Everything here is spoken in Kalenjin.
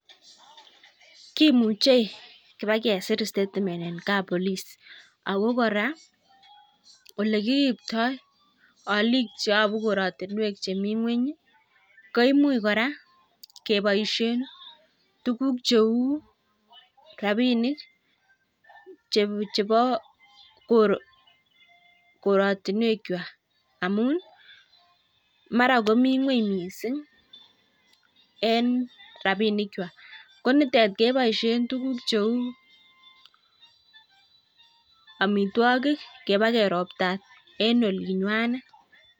Kimuchei kobikesir statement eng kapolis. Ako kora ole kiriptoi olik cheyobu koratinwek chem ng'weny koimuch kora keboishe tukuk cheu rapinik chebo koratinwekwai. Amun mara komi ng'weny mising eng rapinikwai. Ko nitet keboishe tukukcheu amitwagik kobnikeropta eng olingwanet.